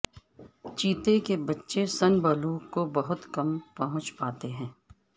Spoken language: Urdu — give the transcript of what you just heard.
چیتے کے بچے سن بلوغ کو بہت کم پہنچ پاتے ہیں